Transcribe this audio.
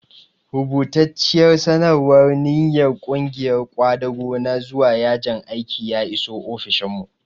Rubatacciyar sanarwar ninyar ƙungiyar ƙwadago na zuwa yajin aiki ya iso ofishinmu.